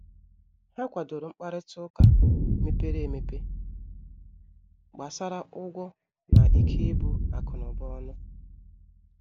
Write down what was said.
Ha kwàdòrò mkparịta ụka mepere emepe gbàsara ụgwọ na ikè ibu akụ̀nụba ọnụ.